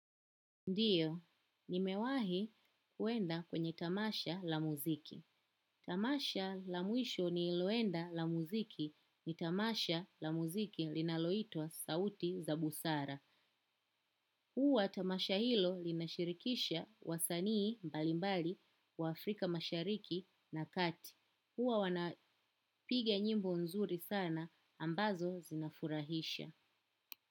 Ndiyo, nimewahi kuenda kwenye tamasha la muziki. Tamasha la mwisho ni iloenda la muziki ni tamasha la muziki linaloitwa sauti za busara. Huwa tamasha hilo linashirikisha wasanii mbalimbali wa Afrika mashariki na kati. Huwa wanapiga nyimbo nzuri sana ambazo zinafurahisha.